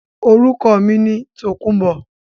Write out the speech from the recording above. Orúkọ mi ni Tòkunbọ̀